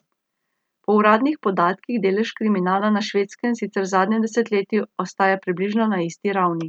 Po uradnih podatkih delež kriminala na Švedskem sicer v zadnjem desetletju ostaja približno na isti ravni.